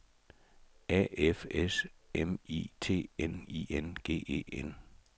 A F S M I T N I N G E N